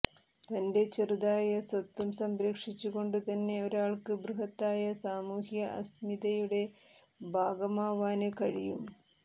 തന്റെ ചെറുതായ സ്വത്വം സംരക്ഷിച്ചുകൊണ്ടുതന്നെ ഒരാള്ക്ക് ബൃഹത്തായ സാമൂഹ്യ അസ്മിതയുടെ ഭാഗമാവാന് കഴിയും